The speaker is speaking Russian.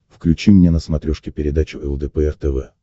включи мне на смотрешке передачу лдпр тв